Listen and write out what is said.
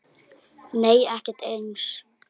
Nei ekkert eins og